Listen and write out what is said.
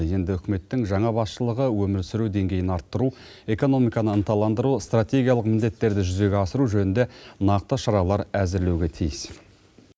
енді үкіметтің жаңа басшылығы өмір сүру деңгейін арттыру экономиканы ынталандыру стратегиялық міндеттерді жүзеге асыру жөнінде нақты шаралар әзірлеуге тиіс